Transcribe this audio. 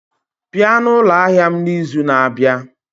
Bịa na ụlọ ahịa m n'izu na-abịa!